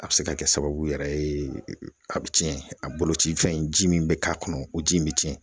A bɛ se ka kɛ sababu yɛrɛ ye a bɛ tiɲɛ, a bolo ci fɛn in, ji min bɛ k'a kɔnɔ o ji in bɛ tiɲɛ.